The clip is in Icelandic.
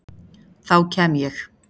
Þá kem ég